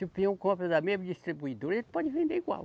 Se o Pinhão compra da mesma distribuidora, ele pode vender igual.